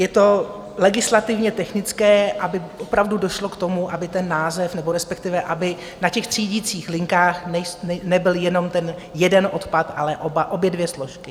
Je to legislativně technické, aby opravdu došlo k tomu, aby ten název, nebo respektive aby na těch třídicích linkách nebyl jenom ten jeden odpad, ale obě dvě složky.